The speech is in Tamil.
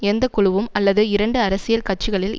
எந்த குழுவும் அல்லது இரண்டு அரசியல் கட்சிகளில்